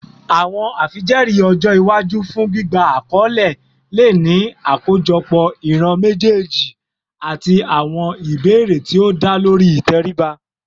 Awọn afijẹẹri ọjọ iwaju fun gbigba akọle le ni akojọpọ iran mejeeji ati awọn ibeere ti o da lori iteriba